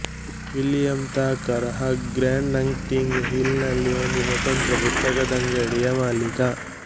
William Thacker Hugh Grant Notting Hill ನಲ್ಲಿ ಒಂದು ಸ್ವತಂತ್ರ ಪುಸ್ತಕದಂಗಡಿಯ ಮಾಲೀಕ